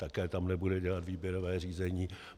Také tam nebude dělat výběrové řízení.